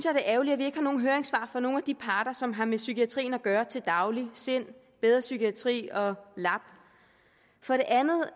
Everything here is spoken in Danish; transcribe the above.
ærgerligt at vi ikke har nogen høringssvar fra nogen af de parter som har med psykiatrien at gøre til daglig sind bedre psykiatri og lap for det andet